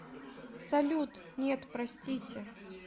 салют нет простите